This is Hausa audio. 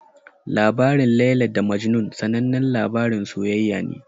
Labarin Laila da Majnun sanannen labarin soyayya ne.